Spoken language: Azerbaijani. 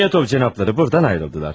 Zamyotov cənabları burdan ayrıldılar.